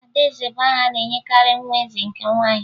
Adaeze bụ aha a na-enyekarị nwa eze nke nwaanyị